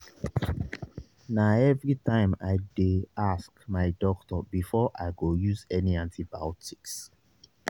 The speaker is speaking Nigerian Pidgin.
na everytime i dey ask my doctor before i go use any antibiotics